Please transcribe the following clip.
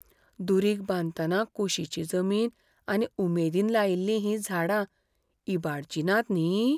दुरीग बांदतना कुशिची जमीन आनी उमेदीन लायिल्लीं हीं झाडां इबाडचीं नात न्ही?